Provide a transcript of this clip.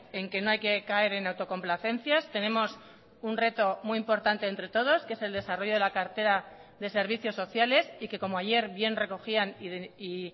en que no hay que caer en autocomplacencias tenemos un reto muy importante entre todos que es el desarrollo de la cartera de servicios sociales y que como ayer bien recogían y